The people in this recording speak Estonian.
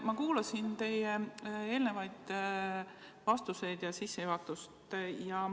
Ma kuulasin teie eelnevaid vastuseid ja sissejuhatust.